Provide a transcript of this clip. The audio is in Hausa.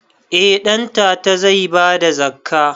Eh ɗantata zai bada zakka